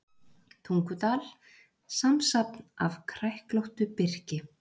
Tungudal, samsafn af kræklóttu birki.